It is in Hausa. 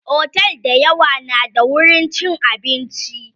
otel da yawa na da wurin chin abinci